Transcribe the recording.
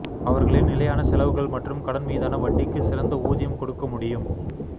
அவர்களின் நிலையான செலவுகள் மற்றும் கடன் மீதான வட்டிக்கு சிறந்த ஊதியம் கொடுக்க முடியும்